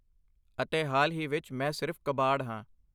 ਅਤੇ ਹਾਲ ਹੀ ਵਿੱਚ, ਮੈਂ ਸਿਰਫ ਕਬਾੜ ਹਾਂ!